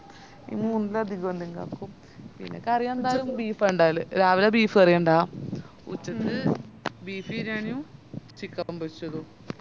ഇത് മൂന്നാ അത്കൊന്തെങ്കിലും ആക്കും പിന്നാ കറിയെന്തായാലും beef ആ ഇണ്ടവല് രാവിലെ beef കറിയ ഇണ്ടവ ഉച്ചക്ക് beef ബിരിയാണിയും chicken പൊരിച്ചതും